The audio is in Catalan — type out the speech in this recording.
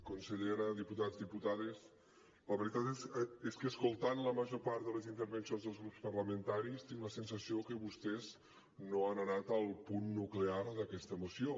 consellera diputats diputades la veritat és que escoltant la major part de les intervencions dels grups parlamentaris tinc la sensació que vostès no han anat al punt nuclear d’aquesta moció